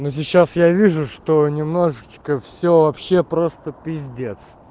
но сейчас я вижу что немножечко все вообще просто пиздец